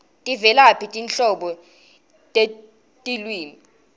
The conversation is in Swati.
tivelaphi tinhlobo tetilwimi